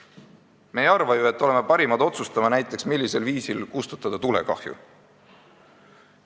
Me ei arva ju, et me oleme näiteks parimad otsustama, millisel viisil tulekahju kustutada.